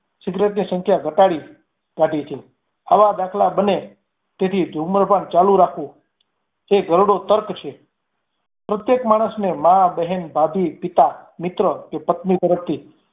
Cigarette ની સંખ્યા ઘટાડી નાખી છે. આવા દાખલા બને તેથી ધૂમ્રપાન ચાલુ રાખવું તે ઘરડો તર્ક છે. પ્રત્યેક માણસને મા બેહેન ભાભી પિતા મિત્ર કે પત્ની તરફથી